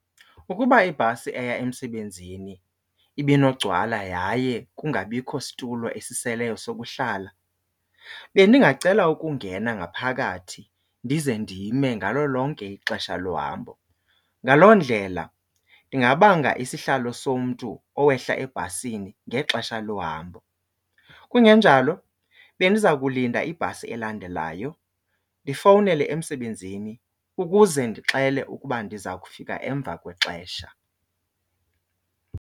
Ukuba ibhasi eya emsebenzini ibinogcwala yaye kungabikho situlo esiseleyo sokuhlala bendingacela ukungena ngaphakathi ndize ndime ngalo lonke ixesha lohambo, ngaloo ndlela ndingabanga isihlalo somntu owehla ebhasini ngexesha lohambo. Kungenjalo bendiza kulinda ibhasi elandelayo ndifowunele emsebenzini ukuze ndixele ukuba ndiza kufika emva kwexesha.